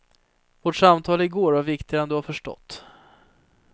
Vårt samtal igår var viktigare än du har förstått.